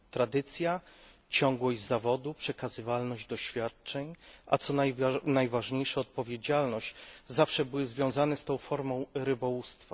Tradycja, ciągłość zawodu, przekazywalność doświadczeń, a co najważniejsze odpowiedzialność zawsze były związane z tą formą rybołówstwa.